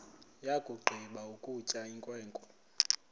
yakugqiba ukutya inkwenkwe